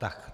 Tak.